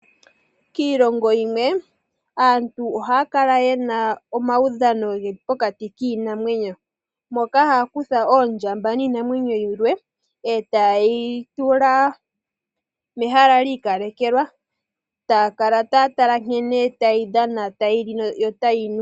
Kiilongo yimwe aantu ohaa kala yena omaudhano geli pokati kiinamwenyo, moka haa kutha oondjamba niinamwenyo yimwe etayeyi tula mehala lyiikalekelwa taakala taa tala nkene tayi dhana tayi li yo otayi nu.